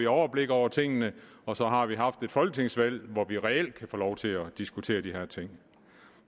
overblik over tingene og så har vi haft et folketingsvalg hvor vi reelt kan få lov til at diskutere de her ting